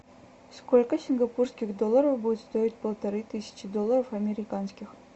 сколько сингапурских долларов будет стоить полторы тысячи долларов американских